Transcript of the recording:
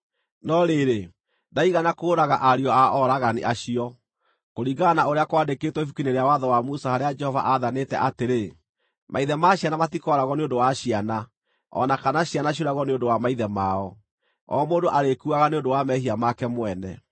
No rĩrĩ, ndaigana kũũraga ariũ a oragani acio, kũringana na ũrĩa kwandĩkĩtwo Ibuku-inĩ rĩa Watho wa Musa harĩa Jehova aathanĩte atĩrĩ: “Maithe ma ciana matikooragwo nĩ ũndũ wa ciana, o na kana ciana ciũragwo nĩ ũndũ wa maithe mao; o mũndũ arĩkuaga nĩ ũndũ wa mehia make mwene.”